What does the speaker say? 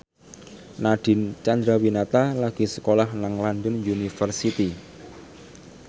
Nadine Chandrawinata lagi sekolah nang London University